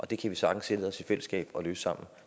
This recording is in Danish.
det kan vi sagtens sætte os ned i fællesskab og løse sammen